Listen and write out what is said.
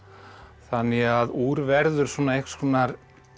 þannig að úr verður einhvers konar